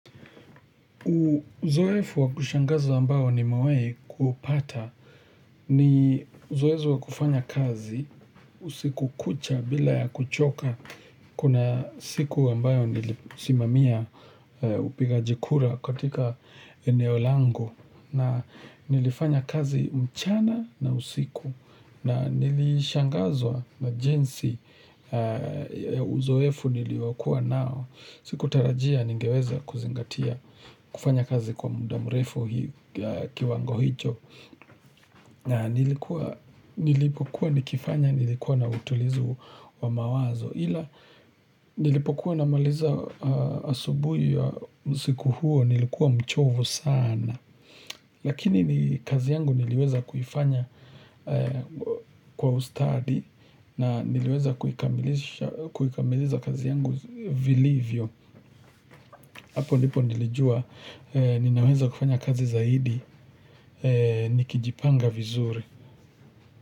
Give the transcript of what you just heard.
Uzoefu wa kushangaza ambayo nimewahi kupata ni uzoezi wa kufanya kazi usiku kucha bila ya kuchoka kuna siku ambayo nilisimamia upigaji kura katika eneo langu na nilifanya kazi mchana na usiku na nilishangazwa na jinsi ya uzoefu niliokua nao. Sikutarajia ningeweza kuzingatia kufanya kazi kwa muda mrefu kiwango hicho na nilipokuwa nikifanya nilikuwa na utulizu wa mawazo ila nilipokuwa na maliza asubuhi ya usiku huo nilikuwa mchovu sana Lakini kazi yangu niliweza kufanya kwa ustadi na niliweza kukamilisha kazi yangu vilivyo hapo nipo nilijua ninaweza kufanya kazi zaidi nikijipanga vizuri.